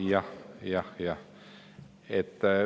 Jah, jah, jah.